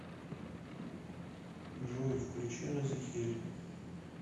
джой включи разихель